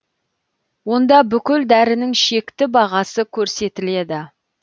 онда бүкіл дәрінің шекті бағасы көрсетіледі